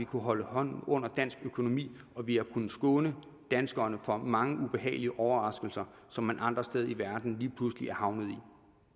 kunnet holde hånden under dansk økonomi og vi har kunnet skåne danskerne for mange ubehagelige overraskelser som man andre steder i verden lige pludselig er havnet